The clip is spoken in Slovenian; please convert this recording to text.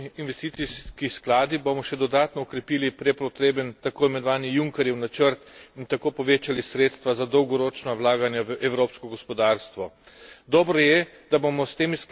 Z zakonodajno resolucijo o dolgoročnih investicijskih skladih bomo še dodatno okrepili prepotreben takoimenovani Junckerjev načrt in tako povečali sredstva za dolgoročna vlaganja v evropsko gospodarstvo.